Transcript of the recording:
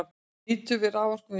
Nýtni við raforkuvinnslu